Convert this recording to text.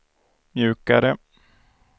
mjukare